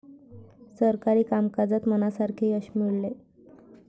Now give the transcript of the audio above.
सरकारी कामकाजात मनासारखे यश मिळेल.